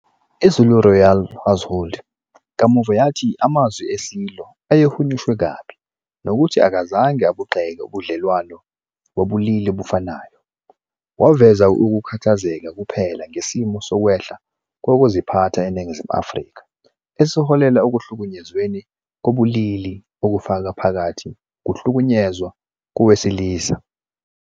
I-Zulu Royal Household kamuva yathi amazwi eSilo ayehunyushwe kabi nokuthi akazange abugxeke ubudlelwano bobulili obufanayo, waveza ukukhathazeka kuphela ngesimo sokwehla kokuziphatha eNingizimu Afrika esiholele ekuhlukunyezweni kobulili, okufaka phakathi ukuhlukunyezwa kowesilisa.